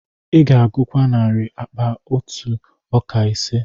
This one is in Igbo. Ị ga-agụkwa narị akpa ntụ ọka ise.